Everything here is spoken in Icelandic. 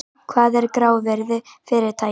Hvað er grávirði fyrirtækja?